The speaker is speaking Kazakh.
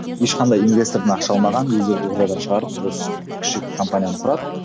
ешқандай инвестордан ақша алмаған өздері ортадан шығарып осы кіші компанияны құрады